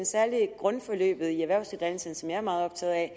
særlig i grundforløbet i erhvervsuddannelserne som jeg er meget optaget af